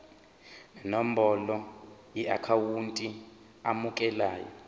nenombolo yeakhawunti emukelayo